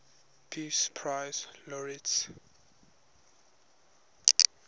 peace prize laureates